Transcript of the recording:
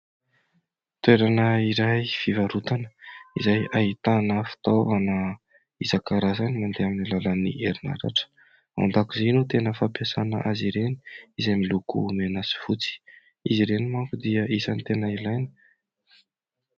Toerana iray hivarotana izay ahitana fitaovana isan-karazany mandeha amin'ny alalan'ny herin'aratra. Ao andakozia no tena fampiasana azy ireny izay miloko mena sy fotsy. Izy ireny manko dia anisan'ny tena ilaina.